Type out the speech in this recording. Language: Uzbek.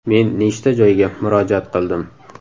Men nechta joyga murojaat qildim.